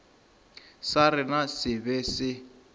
sa rena se be se